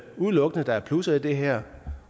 udelukkende er plusser i det her